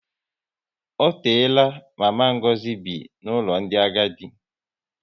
Ọ teela mama Ngozi bi n'ụlọ ndị agadi